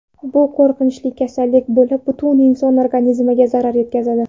Bu qo‘rqinchli kasallik bo‘lib, butun inson organizmiga zarar yetkazadi.